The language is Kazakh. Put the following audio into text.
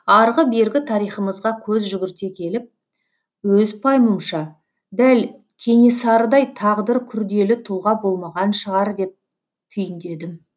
арғы бергі тарихымызға көз жүгірте келіп өз пайымымша дәл кенесарыдай тағдыры күрделі тұлға болмаған шығар деп түйіндедім